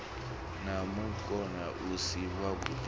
na munukho u si wavhuḓi